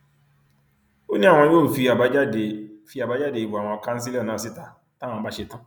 ó ní àwọn yóò fi àbájáde fi àbájáde ìbò àwọn kanṣílò náà síta táwọn bá ṣẹtàn